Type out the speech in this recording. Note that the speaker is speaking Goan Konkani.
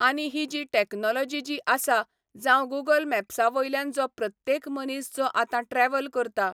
आनी ही जी टॅक्नॉलॉजी जी आसा, जावं गुगल मॅप्सा वयल्यान जो प्रत्येक मनीस जो आतां ट्रॅवल करता.